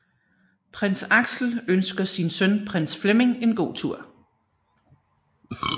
Prins Axel ønsker sin søn Prins Flemming en god tur